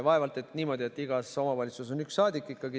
Vaevalt on niimoodi, et igas omavalitsuses on üks Riigikogu saadik.